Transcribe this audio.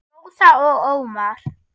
Rósa og Ómar.